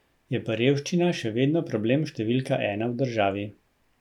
Je pa revščina še vedno problem številka ena v državi.